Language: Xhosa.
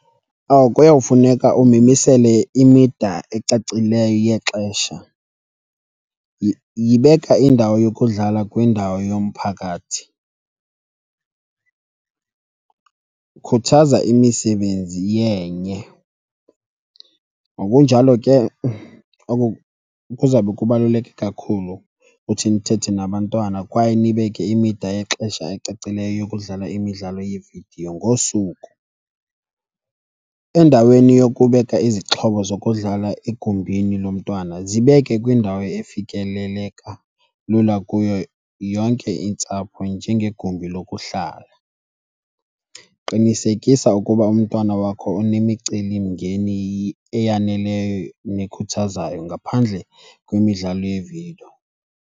Kuyawufuneka umimisele imida ecacileyo yexesha. Yibeka indawo yokudlala kwindawo yomphakathi, khuthaza imisebenzi yenye. Ngokunjalo ke oko kuzawube kubaluleke kakhulu uthi nithethe nabantwana kwaye nibeke imida yexesha ecacileyo yokudlala imidlalo yevidiyo ngosuku. Endaweni yokubeka izixhobo zokudlala egumbini lomntwana zibeke kwindawo efikeleleka lula kuyo yonke intsapho, njengegumbi lokuhlala. Qinisekisa ukuba umntwana wakho unemicelimngeni eyaneleyo nekhuthazayo ngaphandle kwemidlalo yevidiyo.